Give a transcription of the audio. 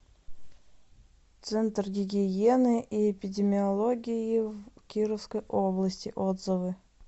центр гигиены и эпидемиологии в кировской области отзывы